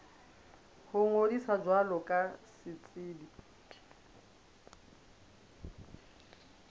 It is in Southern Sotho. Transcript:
ho ngodisa jwalo ka setsebi